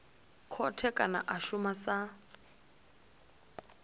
khothe kana a shuma sa